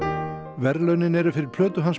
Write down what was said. verðlaunin eru fyrir plötu hans